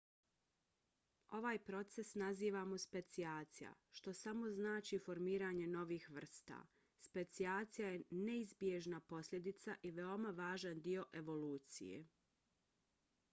ovaj proces nazivamo specijacija što samo znači formiranje novih vrsta. specijacija je neizbježna posljedica i veoma važan dio evolucije